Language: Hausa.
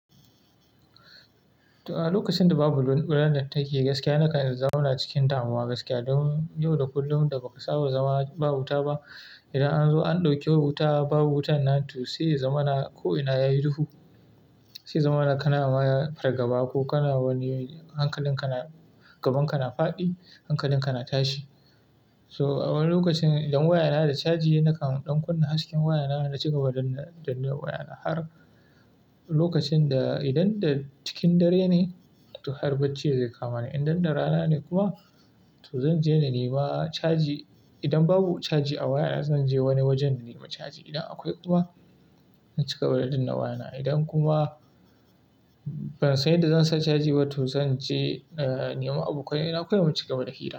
To a lokacin da babu ruwan lantarki gaskiya nakan zauna cikin damuwa gaskiya don yau da kullum da ba ka saba zama ba wuta ba. Idan an zo an ɗauki wuta babu wutan nan to sai zaman na ko'ina yayi duhu. Sai zaman na kana waya fargaba ko kana wani hankalin ka na gaban ka na faɗi hankalin ka na tashi. So a wani lokacin idan waya na da caji nakan ɗan kunna hasken waya na, na ci gaba dan da nema waya na har lokacin da idan da cikin dare ne to har bacci zai kamani. Idan da rana ne kuma to zan je da nema caji. Idan babu caji a waya na zan je wani wajen in nema caji. Idan akwai kuma zan ci gaba da dinnan waya na. Idan kuma ban san da zan sa caji ba to zan je nema abokanena kawai mun ci gaba da fila.